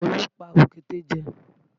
Olú pa òkété jẹ